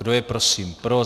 Kdo je prosím pro?